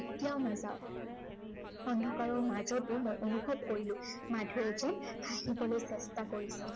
কেতিয়াও নাযাওঁ। অন্ধকাৰৰ মাজতো মই অনুভৱ কৰিলো, মাধুৱে যেন হাঁহিবলৈ চেষ্টা কৰিছে।